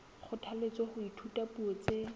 kgothalletswa ho ithuta dipuo tse